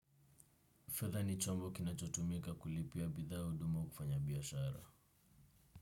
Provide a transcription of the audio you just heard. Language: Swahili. Fedha ni chombo kinachotumika kulipia bidhaa huduma au kufanya biashara.